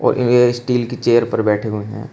ये स्टील की चेयर पर बैठे हुए हैं।